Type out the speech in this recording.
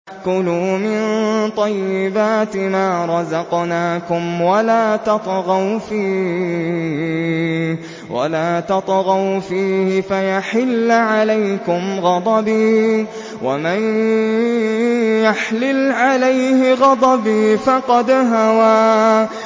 كُلُوا مِن طَيِّبَاتِ مَا رَزَقْنَاكُمْ وَلَا تَطْغَوْا فِيهِ فَيَحِلَّ عَلَيْكُمْ غَضَبِي ۖ وَمَن يَحْلِلْ عَلَيْهِ غَضَبِي فَقَدْ هَوَىٰ